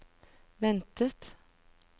ventet